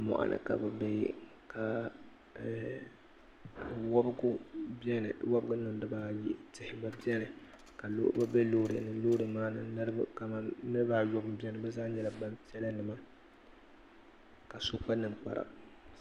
mɔɣuni ka bɛ be ka eeh wabigu beni wabiri bibaayi tihi gba beni ka niriba be loori ni kamani niriba ayɔbu m-beni bɛ zaa nyɛla gbampiɛla ka so kpa ninkpara